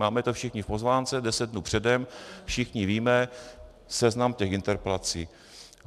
Máme to všichni v pozvánce deset dnů předem, všichni víme seznam těch interpelací.